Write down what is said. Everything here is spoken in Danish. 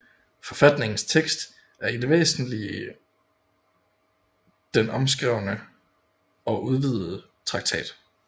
Forfatningens tekst er i det væsentlige den omskrevne og udvidede traktat